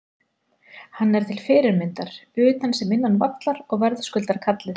Hann er til fyrirmyndar utan sem innan vallar og verðskuldar kallið.